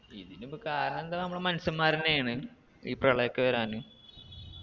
ഇതിനിപ്പൊ കാരണെന്താ നമ്മള് മാനുഷ്യമ്മാരെന്നേന്ന് ഈ പ്രളയൊക്കെ വരാന്